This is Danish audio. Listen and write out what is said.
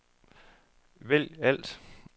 vælg alt